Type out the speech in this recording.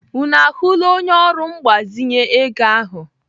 Unu ahụla onye ọrụ mgbazinye ego ahụ?